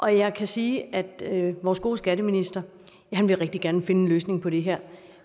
jeg kan sige at vores gode skatteminister rigtig gerne vil finde en løsning på det her